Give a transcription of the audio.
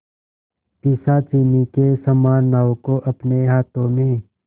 पिशाचिनी के समान नाव को अपने हाथों में